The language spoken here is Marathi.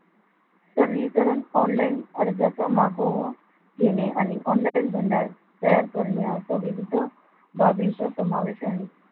सरळीकरण online अर्जाचा मागोवा घेणे आणि online मंडळ तयार करणे असा विविध बाबींचा समावेश आहे.